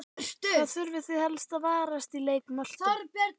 Hvað þurfið þið helst að varast í leik Möltu?